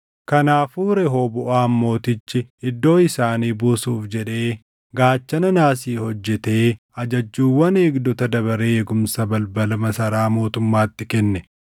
Kanaafuu Rehooboʼaam mootichi iddoo isaanii buusuuf jedhee gaachana naasii hojjetee ajajjuuwwan eegdota dabaree eegumsa balbala masaraa mootummaatti kenne.